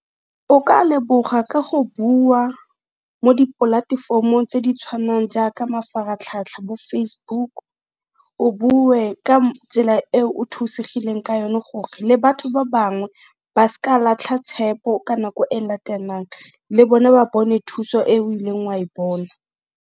O ka leboga ka go bua mo dipolatefomong tse di tshwanang jaaka mafaratlhatlha bo Facebook o bue ka tsela eo o thusegileng ka yone gore le batho ba bangwe ba s'ka latlha tshepo ka nako e latelang, le bone ba bone thuso eo ileng wa e bona.